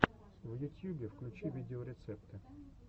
в ютьюбе включи видеорецепты